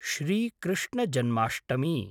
Shri Krishna Janmashtami